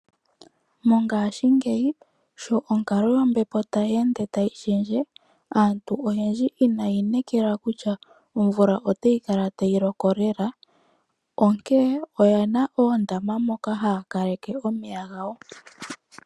Mongashingeyi sho onkalo yombepo tayi ende tayi shendje, aantu oyendji inayi inekela kutya omvula ota yi kala tayi loko lela. Onkee oyena oondama moka haya kaleke omeya gawo.